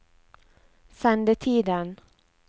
sendetiden